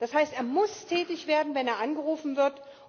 Das heißt, er muss tätig werden, wenn er angerufen wird.